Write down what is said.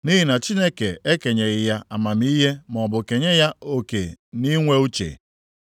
Nʼihi na Chineke ekenyeghị ya amamihe maọbụ kenye ya oke na inwe uche.